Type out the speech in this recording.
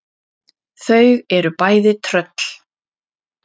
Þau eru bæði tröll.